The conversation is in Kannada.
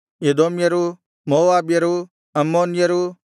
ಎದೋಮ್ಯರು ಮೋವಾಬ್ಯರು ಅಮ್ಮೋನ್ಯರು